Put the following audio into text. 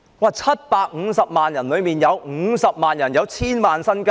在750萬人中，有50萬人擁有千萬元身家！